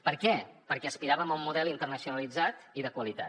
per què perquè aspiràvem a un model internacionalitzat i de qualitat